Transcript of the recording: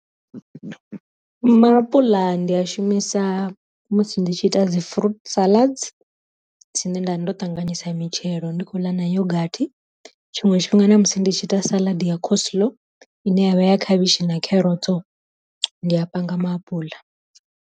Ma apuḽa ndi a shumisa musi ndi tshi ita dzi fruit salads tsini nda ndo ṱanganyisa mitshelo ndi khou ḽa na yogathi, tshiṅwe tshifhinga na musi ndi tshi ita saladi ya coslow ine yavha ya khavhishi na kherotso ndi a panga maapuḽa.